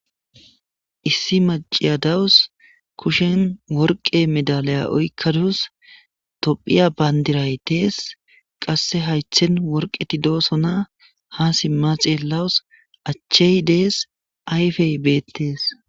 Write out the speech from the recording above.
Issi maciya dawus kushen worqe medalaya oykkadus tophiya bayndiraytees qasse haythen worqeti doosona ha simma ceellawus achchey dees ayfey beettees.